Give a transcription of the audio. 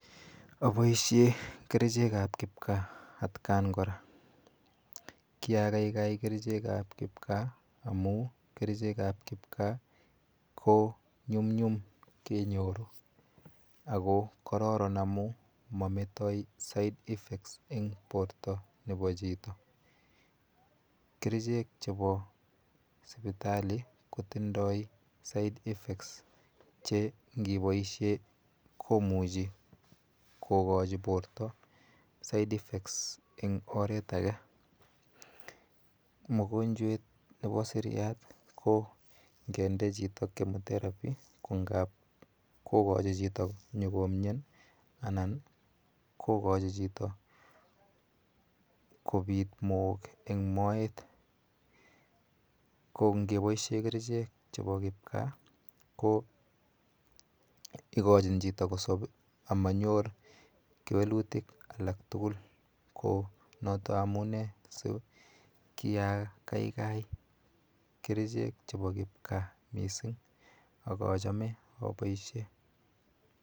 Aboishe kerichekap kipka atkan kora. Kiakaikai kerichekap kipkaa amu kerichekap kipkaa konyumnyum kenyoru ako kororon amu mametoi side effects eng porto nepo chito. Kerichek chepo sipitali kotindoi side effects che ngiboishe komuchi kokochi porto side effects[sc] eng oret ake. Mogonjwet nepo seriat ko ngende chito chemoteraphy ko ngap kokochi chito nyokomien anan kokochi chito kopit mook eng moet ko ngepoishe kerichek chepo kipkaa ko ikochin chito kosop amanyor kewelutik alaktugul ko notok amune si kiakaikai kerichek chepo kipkaa mising akachome aboishe.